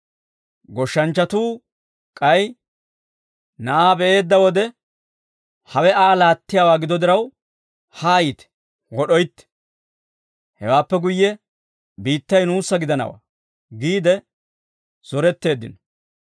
Goshshanchchatuu k'ay na'aa be'eedda wode, ‹Hawe Aa laattiyaawaa gido diraw, hayite wod'oytte; hewaappe guyye, biittay nuussa gidanawaa› giide zoretteeddino.